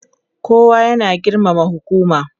kowa ya na girmama hukuma